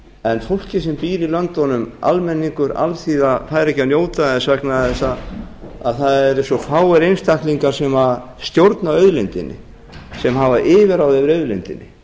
en fólkið sem býr í löndunum almenningur alþýða fær ekki að njóta þess vegna þess að það eru svo fáir einstaklingar sem stjórna auðlindinni sem hafa yfirráð fær auðlindinni